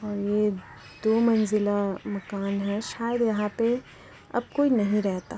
और ये दो मंजिला मकान है शायद यहाँ पे अब कोई नही रहता।